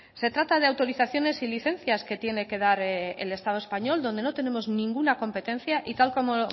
se trata de autorizaciones y licencias que tiene que dar el estado español donde no tenemos ninguna competencia y tal como